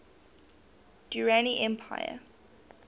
durrani empire